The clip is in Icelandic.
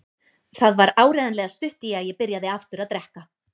Það var áreiðanlega stutt í að ég byrjaði aftur að drekka.